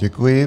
Děkuji.